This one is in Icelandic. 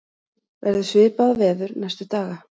verður svipað veður næstu daga